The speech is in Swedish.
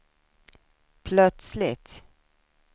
plötsligt